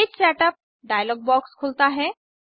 page setup dialog box खुलता है